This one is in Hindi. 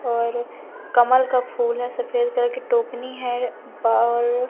और कमल का फूल है सफेद कलर की टोकनी है ब और--